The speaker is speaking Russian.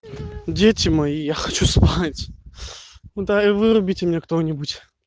дети мои я хочу спать да и вырубите меня кто-нибудь